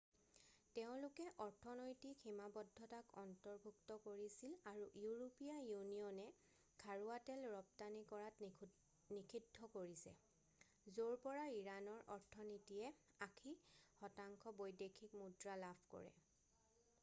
তেওঁলোকে অৰ্থনৈতিক সীমাদ্ধতাক অন্তৰ্ভুক্ত কৰিছিল আৰু ইউৰোপীয়া ইউনিয়নে খাৰুৱা তেল ৰপ্তানি কৰাত নিষিদ্ধ কৰিছে য'ৰ পৰা ইৰাণৰ অৰ্থনীতিয়ে 80% বৈদেশিক মুদ্ৰা লাভ কৰে